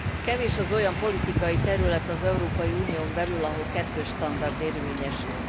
Kevés az olyan politikai terület az Európai Unión belül, ahol kettős standard érvényesül.